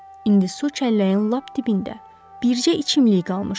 İndi su çəlləyin lap dibində bircə içimlik qalmışdı.